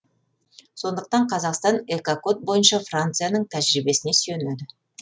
сондықтан қазақстан экокод бойынша францияның тәжірибесіне сүйенеді